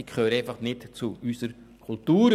Die gehören einfach nicht zu unserer Kultur.